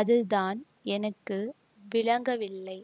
அதுதான் எனக்கு விளங்கவில்லை